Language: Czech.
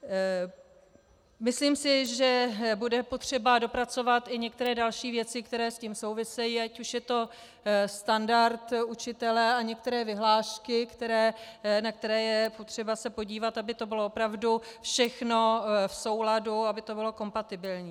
Myslím si, že bude potřeba dopracovat i některé další věci, které s tím souvisejí, ať už je to standard učitele a některé vyhlášky, na které je potřeba se podívat, aby to bylo opravdu všechno v souladu, aby to bylo kompatibilní.